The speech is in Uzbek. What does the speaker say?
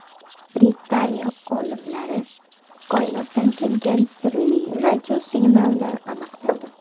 Britaniya olimlari koinotdan kelgan sirli radiosignalni aniqladi.